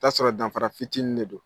I bɛ t'a sɔrɔ danfara fitinin de don